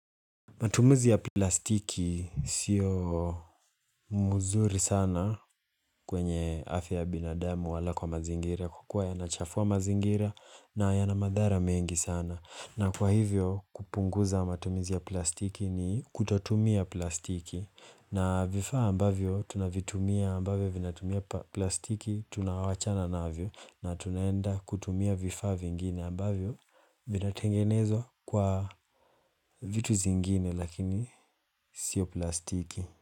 Matumizi ya plastiki sio mzuri sana kwenye afya ya binadamu wala kwa mazingira kwa kua yanachafua mazingira na yana madhara mengi sana. Na kwa hivyo kupunguza matumizi ya plastiki ni kutotumia plastiki na vifaa ambavyo tunavitumia ambavyo vinatumia plastiki tunawachana navyo na tunaenda kutumia vifaa vingine ambavyo vinatengenezwa kwa vitu zingine lakini sio plastiki.